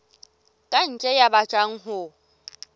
ka ntle ya batlang ho